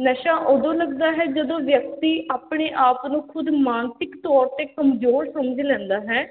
ਨਸ਼ਾ ਉਦੋਂ ਲਗਦਾ ਹੈ, ਜਦੋਂ ਵਿਅਕਤੀ ਆਪਣੇ ਆਪ ਨੂੰ ਖ਼ੁਦ ਮਾਨਸਿਕ ਤੌਰ 'ਤੇ ਕਮਜ਼ੋਰ ਸਮਝ ਲੈਂਦਾ ਹੈ।